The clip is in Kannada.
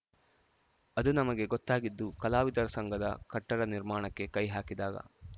ಅದು ನಮಗೆ ಗೊತ್ತಾಗಿದ್ದು ಕಲಾವಿದರ ಸಂಘದ ಕಟ್ಟಡ ನಿರ್ಮಾಣಕ್ಕೆ ಕೈ ಹಾಕಿದಾಗ